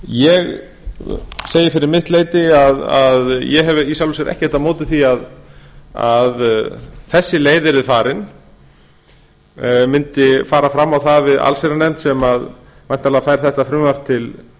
ég segi fyrir mitt leyti að ég hef í sjálfu sér ekkert á móti því að þessi leið verði farin mundi fara fram á það við allsherjarnefnd sem væntanlega fær þetta frumvarp til